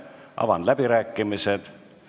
Avan fraktsioonide läbirääkimised.